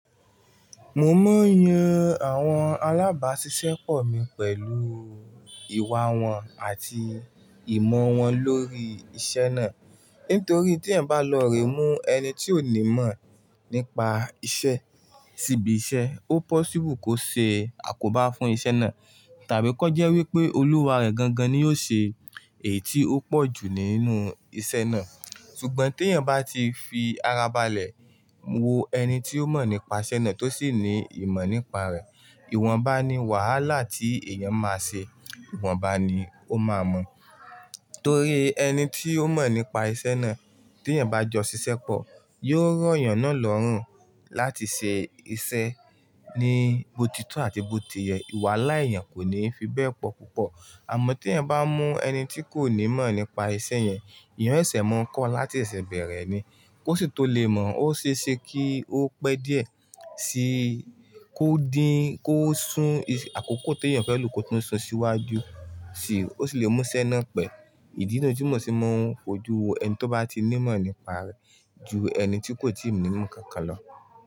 Mo máa ń yan àwọn alábàáṣiṣẹ́ pọ̀ mi pẹ̀lú ìwà wọn àti ìmọ̀ wọn lórí iṣẹ́ náà. Nítorí tí ẹ̀ ń bá lọ re mú ẹni tí ó ní mọ̀ nípa iṣẹ́ síbi iṣẹ́, ó possible kó ṣe àkóbá fún iṣẹ́ náà. Tàbí kí ó jẹ́ wí pé olùwà rẹ̀ gangan ni yóò ṣe èyí tí ó pọ̀ jù nínú iṣẹ́ náà. Ṣùgbọ́n tí ẹ̀ ń bá ti fi ara balẹ̀ wo ẹni tí ó mọ̀ nípa iṣẹ́ náà tó sì ní ìmọ̀ nípa rẹ̀, ìwọ̀nba ni wàhálà tí èèyàn máa ṣe, ìwọ̀nba ni ó máa mọ̀. Torí ẹni tí ó mọ̀ nípa iṣẹ́ náà tí ẹ̀ ń bá jọ ṣiṣẹ́ pọ̀, yóò rọ̀ èèyàn náà lọ́rùn láti ṣe iṣẹ́ ní botitọ́ àti bó tiyẹ̀. Ìwà láì yàn kò ní fi bẹ́ẹ̀ pọ̀ púpọ̀. Àmọ́ tí ẹ̀yań bá mú ẹni tí kò ní mọ̀ nípa iṣẹ́ yẹn, eyàn o sẹsẹ̀ máa ń kọ́ láti sẹsẹ̀ bẹ̀rẹ̀ ni. Kó sì tó lè mọ̀, ó ṣe é ṣe kí ó pẹ́ díẹ̀ sí kó dín, kó sún àkókò tí èèyàn fẹ́ lò kó tún sún síwájú, sì ó sì lè mú iṣẹ́ náà pẹ́. Ìdí nínú ojúmọ̀ ṣe mọ́ ojú ẹni tí ó bá ti ní ìmọ̀ nípa rẹ̀ ju ẹni tí kò tíì ní ìmọ̀ kankan lọ.